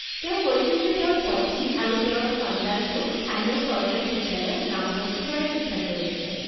তেওঁ কৈছিল যে তেওঁৰ পত্নী আৰু তেওঁ সন্তানটোক স্থানীয় চৰকাৰী বিদ্যালয়ত নামভৰ্তি কৰাৰ সিদ্ধান্ত লৈছে।